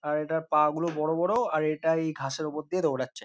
আর এটার পা গুলো বড় বড় আর এটা এই ঘাসের উপর দিয়ে দৌড়াচ্ছে।